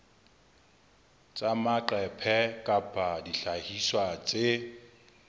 tsa maqephe kapa dihlahiswa tse